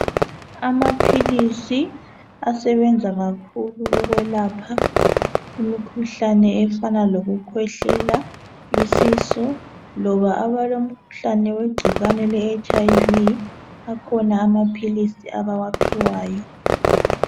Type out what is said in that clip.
Amaphilizi asebenza kakhulu ukwelapha imikhuhlane efana lokukhwehlela , isisu loba abalomkhuhlane wegcikwane leHIV akhona amaphilizi abawaphiwayo.